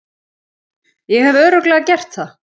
Ég hef Örugglega gert það.